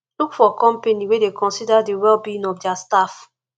look for company wey dey consider the well being of their staff